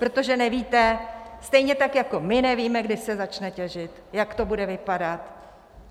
Protože nevíte stejně tak jako my nevíme, kdy se začne těžit, jak to bude vypadat.